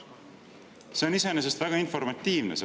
See vastus on iseenesest väga informatiivne.